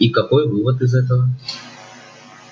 и какой вывод из этого